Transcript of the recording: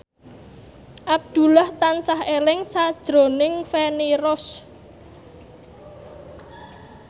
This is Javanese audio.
Abdullah tansah eling sakjroning Feni Rose